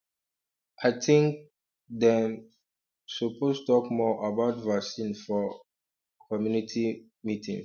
i think um dem um suppose talk more about vaccine for um community health meetings